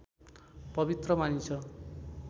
पवित्र मानिन्छ